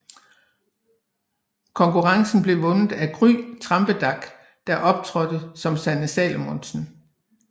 Konkurrencen blev vundet af Gry Trampedach der optrådte som Sanne Salomonsen